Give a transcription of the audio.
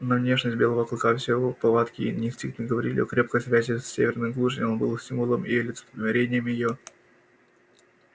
но внешность белого клыка все его повадки и инстинкты говорили о крепкой связи с северной глушью он был символом и олицетворением её